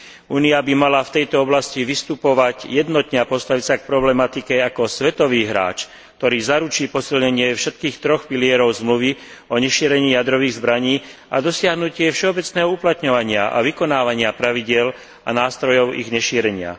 Únia by mala v tejto oblasti vystupovať jednotne a postaviť sa k problematike ako svetový hráč, ktorý zaručí posilnenie všetkých troch pilierov Zmluvy o nešírení jadrových zbraní a dosiahnutie všeobecného uplatňovania a vykonávania pravidiel a nástrojov ich nešírenia.